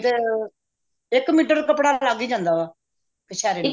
ਜੋ ਇੱਕ ਮੀਟਰ ਕੱਪੜਾ ਲੱਗ ਹੀ ਜਾਂਦਾ ਕਛੇਰੇ ਨੂੰ